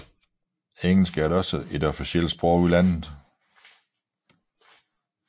Engelsk er også officielt sprog i landet